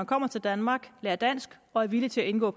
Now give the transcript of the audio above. kommer til danmark lærer dansk og er villige til at indgå